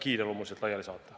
Andres Sutt, palun!